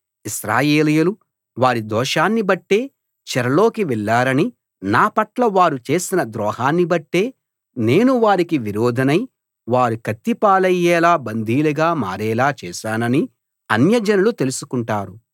ఇశ్రాయేలీయులు వారి దోషాన్ని బట్టే చెరలోకి వెళ్ళారనీ నా పట్ల వారు చేసిన ద్రోహాన్ని బట్టే నేను వారికి విరోధినై వారు కత్తిపాలయ్యేలా బందీలుగా మారేలా చేశాననీ అన్యజనాలు తెలుసుకుంటారు